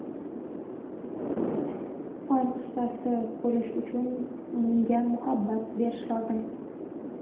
Fan ustasi bo‘lish uchun unga muhabbat berish lozim.